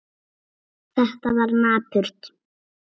Þetta var napurt.